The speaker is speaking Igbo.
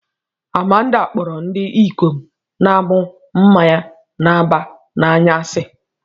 Amanda kpọrọ ndị ikom na-aṅụ mmanya na-aba n'anya asị